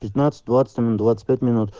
пятнадцать двадцать минут двадцать пять минут